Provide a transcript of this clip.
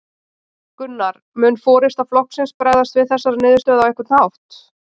Gunnar: Mun forysta flokksins bregðast við þessari niðurstöðu á einhvern hátt?